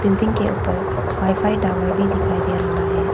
Building के ऊपर wifi tower भी दिखाई दे रहा है।